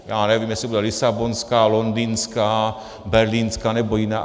Já nevím, jestli bude Lisabonská, Londýnská, Berlínská nebo jiná.